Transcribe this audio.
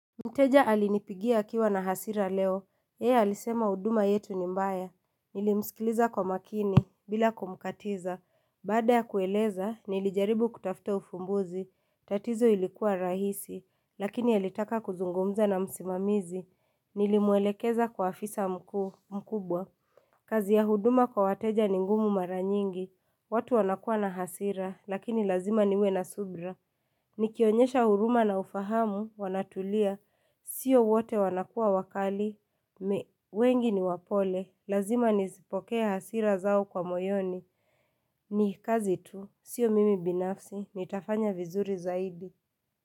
Mteja alinipigia akiwa na hasira leo. Yeye alisema huduma yetu ni mbaya. Nilimsikiliza kwa makini, bila kumkatiza. Baada ya kueleza, nilijaribu kutafta ufumbuzi. Tatizo ilikuwa rahisi, lakini alitaka kuzungumza na msimamizi. Nilimwelekeza kwa afisa mkuu mkubwa. Kazi ya huduma kwa wateja ni ngumu mara nyingi. Watu wanakua na hasira, lakini lazima niwe na subra. Nikionyesha huruma na ufahamu, wanatulia. Sio wote wanakua wakali, me wengi ni wapole, lazima nisizipokee hasira zao kwa moyoni, ni kazi tu, sio mimi binafsi, nitafanya vizuri zaidi.